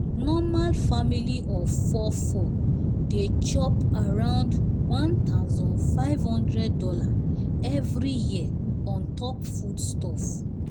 normal family of 4 4 dey chop around one thousand five hundred dollars every year on top foodstuffs